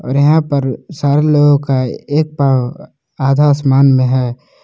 और यहां पर सारे लोगों का एक पांव आधा आसमान में है।